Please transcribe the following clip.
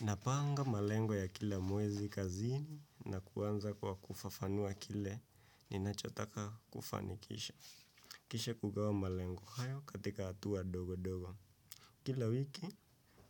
Napanga malengo ya kila mwezi kazini na kuanza kwa kufafanua kile ninachotaka kufanikisha. Kisha kugawa malengo hayo katika hatua ndogo ndogo. Kila wiki